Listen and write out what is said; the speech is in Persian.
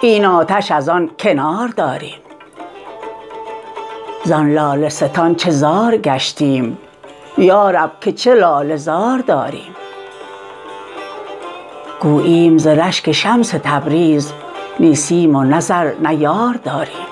این آتش از آن کنار داریم زان لاله ستان چه زار گشتیم یا رب که چه لاله زار داریم گوییم ز رشک شمس تبریز نی سیم و نه زر نه یار داریم